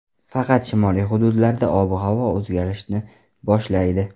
Faqat shimoliy hududlarda ob-havo o‘zgarishni boshlaydi.